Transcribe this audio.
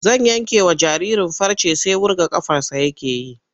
Zan yankewa jaririn farce sai wurga ƙafarsa yake yi.